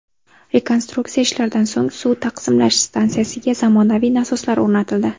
Rekonstruksiya ishlaridan so‘ng suv taqsimlash stansiyasiga zamonaviy nasoslar o‘rnatildi.